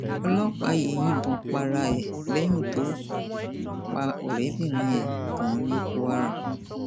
ọlọpàá yìí yìnbọn para ẹ lẹyìn tó pa ọrẹbìnrin ẹ tán ní kwara